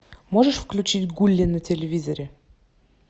можешь включить гулли на телевизоре